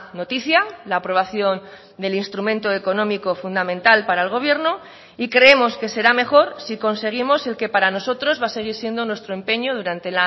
noticia la aprobación del instrumento económico fundamental para el gobierno y creemos que será mejor si conseguimos el que para nosotros va a seguir siendo nuestro empeño durante